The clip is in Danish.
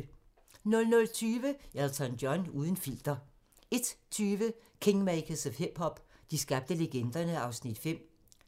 00:20: Elton John uden filter 01:20: Kingmakers of hip-hop - de skabte legenderne (Afs. 5)